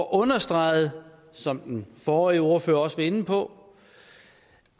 understreget som den forrige ordfører også var inde på